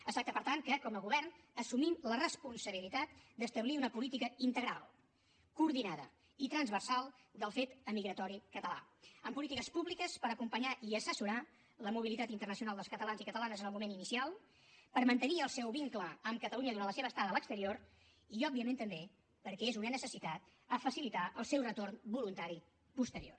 es tracta per tant que com a govern assumim la responsabilitat d’establir una política integral coordinada i transversal del fet emigratori català amb polítiques públiques per acompanyar i assessorar la mobilitat internacional dels catalans i catalanes en el moment inicial per mantenir el seu vincle amb catalunya durant la seva estada a l’exterior i òbviament també perquè és una necessitat a facilitar el seu retorn voluntari posterior